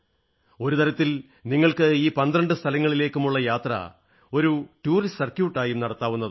ഒരു തരത്തിൽ നിങ്ങൾക്ക് ഈ പന്ത്രണ്ട് സ്ഥലങ്ങളിലേക്കുമുള്ള യാത്ര ഒരു ടൂറിസ്റ്റ് സർക്യൂട്ട് ആയും നടത്താവുന്നതാണ്